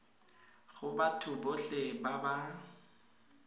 go batho botlhe ba ba